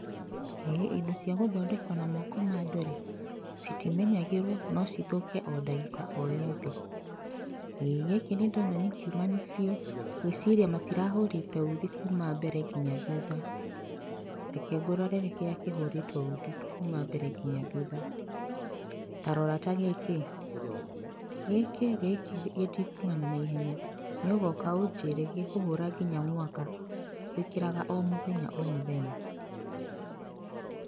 Ĩĩ indo cia gũthondekwo na moko ma andũ-rĩ citimenyagĩrwo no cithũke o ndagĩka o yothe. Ĩĩ gĩkĩ nĩndona nĩkiumanu biũ ngwĩciria matirahũrĩte uthi kuma mbere nginya thutha. Reke ngũrorere kĩrĩa kĩhũrĩtwo uthi kuma mbere ngina thutha. Tarora ta gĩkĩ, gĩkĩ gĩtikumana naihenya, nĩ ũgoka ũnjĩre gĩkũhũra nginya mwaka wĩkĩraga o mũthenya o mũthenya.